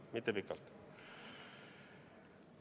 Mitte pikalt.